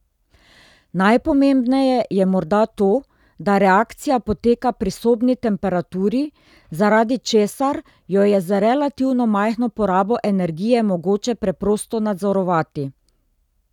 Najpomembneje je morda to, da reakcija poteka pri sobni temperaturi, zaradi česar jo je z relativno majhno porabo energije mogoče preprosto nadzorovati.